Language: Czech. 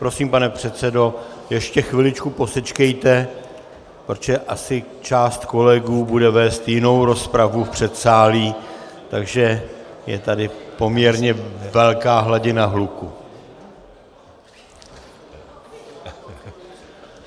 Prosím, pane předsedo, ještě chviličku posečkejte, protože asi část kolegů bude vést jinou rozpravu v předsálí, takže je tady poměrně velká hladina hluku...